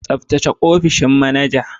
Tsaftace opishin manaja.